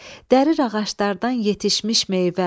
Dərir ağaclardan yetişmiş meyvə.